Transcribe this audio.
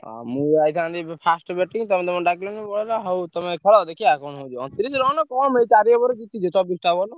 ହଉ ତମେ ଖେଳ ଦେଖିଆ କଣ ହଉଛି ଅଣତିରିଶ ରଣ କଣ ଚାରି over ରେ ଜିତିଯିବ ଛବିସଟା ବଲ।